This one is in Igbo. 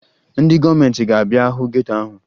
Ndị gọọmenti ga-abịa hụ geto ahụ